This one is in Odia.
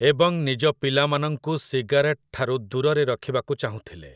ଏବଂ ନିଜ ପିଲାମାନଙ୍କୁ ସିଗାରେଟଠାରୁ ଦୂରରେ ରଖିବାକୁ ଚାହୁଁଥିଲେ ।